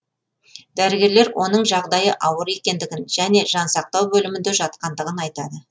дәрігерлер оның жағдайы ауыр екендігін және жансақтау бөлімінде жатқандығын айтады